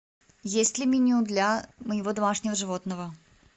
есть ли меню для моего домашнего животного